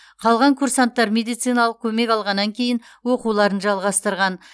қалған курсанттар медициналық көмек алғаннан кейін оқуларын жалғастырған